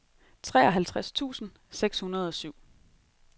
treoghalvtreds tusind seks hundrede og syv